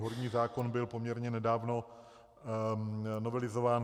Horní zákon byl poměrně nedávno novelizován.